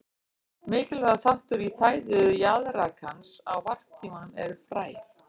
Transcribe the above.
Mikilvægur þáttur í fæðu jaðrakans á varptímanum eru fræ.